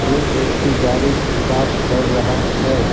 यह व्यक्ति गाड़ी साफ कर रहा है।